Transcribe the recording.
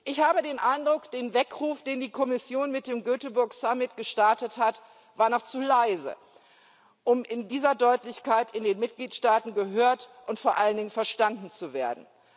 Ich habe den Eindruck, der Weckruf, den die Kommission mit dem Göteborg Summit gestartet hat, war noch zu leise, um in dieser Deutlichkeit in den Mitgliedstaaten gehört und vor allen Dingen verstanden zu werden.